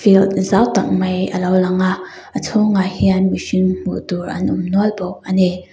zau tak mai alo langa a chhung ah hian mihring hmuh tur an awm nual bawk ani.